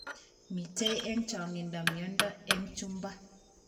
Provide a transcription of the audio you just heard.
Mitei eng chang'indo miondo eng chumba